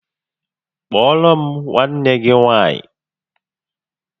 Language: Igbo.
Kpọọrọ m nwanne gị nwaanyị!